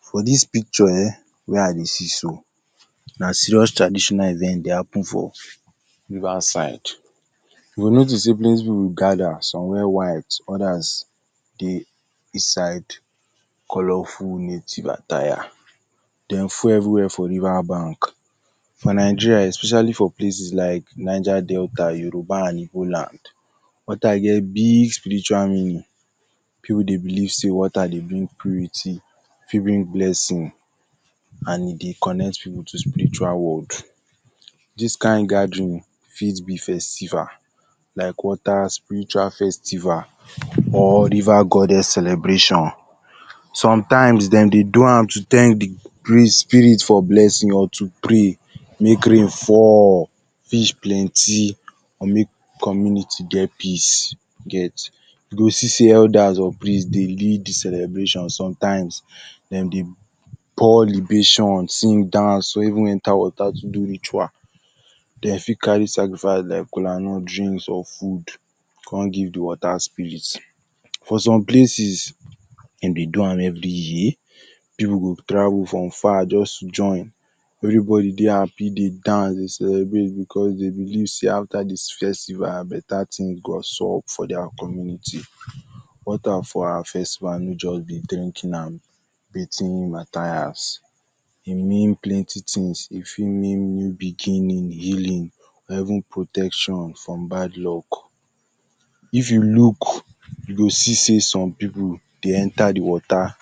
For dis picture um wey I dey see so, na serious traditional event dey happen for river side. You go notice sey plenty pipu gather some where white others dey inside colorful native attire, dey full every where for river bank. For Nigerian especially for places like Naija delta, Yoruba and Igbo land water dem be spiritual meaning, dem believe sey water dey bring purity e fit bring blessings and e dey connect pipu to spiritual world. Dis kind gathering um fit be festival like water spiritual festival or river goddess celebration. Some times dem dey do am to thank de spirit for blessing or to pray make rain fall fish plenty or make community get peace, you get. You see see elders for village dey lead de celebration sometimes dem dey pour liberations, dance or even enter water to do ritual. Dem fit carry sacrifice like kolanut, drinks or food come give de water spirit. Dem dey do am every year, pipu go travel from far just join. Everybody dey happy dey dance dey celebrate because dem believe sey after dis festival better thing go sup for their community. Water for our im just be drink and bathing Matthias, e mean plenty things e fit mean beginning, healing or even protection from bad luck. If you look you go see sey some pipu dey enter de water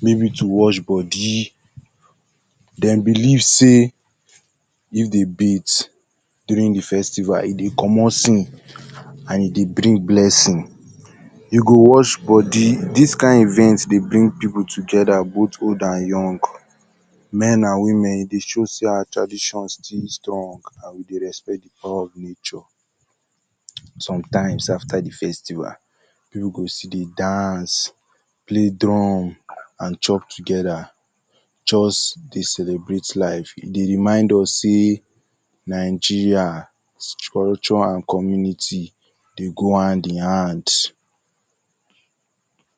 maybe to wash body dem believe sey if dem bath during de festival e dey commot sin and e dey bring blessing. You go wash body dis kind event dey bring pipu bring pipu together but old and young, men and women e dey show sey our tradition still strong and we dey respect de power of nature. Sometimes after de festival pipu go still dey dance, play drum and chop together, just dey celebrate life e dey remind us sey Nigeria culture and community dey go hand in hand.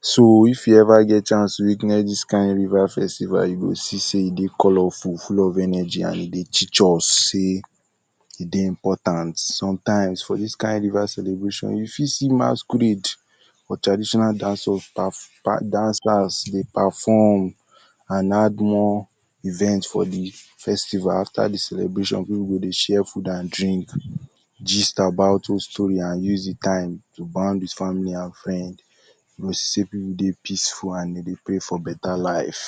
So if you ever get chance to witness dis kind river festival you go see sey e dey culturally lawful full of energy and e dey teach us sey, e dey important sometimes for dis kind river celebration you fit see masquerade for traditional dance, dancers dey perform. And add more event for de festival after de celebration pipu go dey share food and drinks, gist about old stories and use de time to bound with family and friends. You go see sey pipu dey peaceful and dem dey pray for better life.